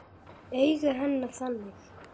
Augu hennar þannig.